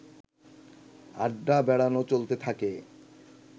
আড্ডা-বেড়ানো চলতে থাকে